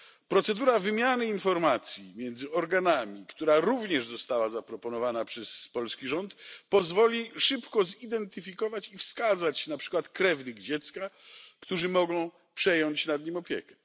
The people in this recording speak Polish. Procedura wymiany informacji między organami, która również została zaproponowana przez polski rząd pozwoli szybko zidentyfikować i wskazać na przykład krewnych dziecka, którzy mogą przejąć nad nim opiekę.